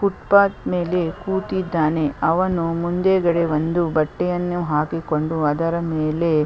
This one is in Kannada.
ಫುಟ್ಪಾತ್ ಮೇಲೆ ಕೂತಿದ್ದಾನೆ ಅವನು ಮುಂದು ಗಡೆ ಒಂದು ಬಟ್ಟೆಯನ್ನು ಹಾಕಿಕೊಂಡು ಅದರ ಮೇಲೆ .